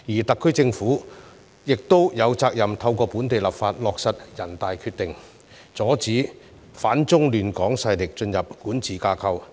特區政府亦有責任透過本地立法落實全國人民代表大會的《決定》，阻止反中亂港勢力進入管治架構。